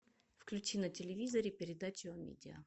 включи на телевизоре передачу амедиа